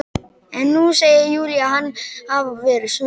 En nú segir Júlía hann hafa verið smið.